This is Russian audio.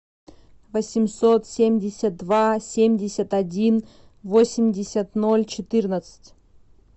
восемьсот семьдесят два семьдесят один восемьдесят ноль четырнадцать